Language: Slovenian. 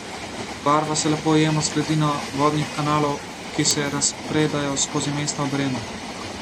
Barva se lepo ujema z gladino vodnih kanalov, ki se razpredajo skozi mesto ob Renu.